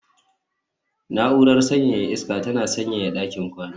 Na'urar sanyaya iska tana sanyaya ɗakin kwana